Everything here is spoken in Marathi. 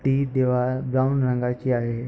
ती दिवार ब्राउन रंगाची आहे.